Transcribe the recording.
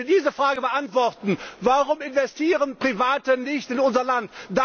Wenn sie diese Frage beantworten Warum investieren Private nicht in unser Land?,